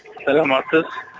саламатсыз